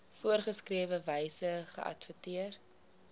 voorgeskrewe wyse geadverteer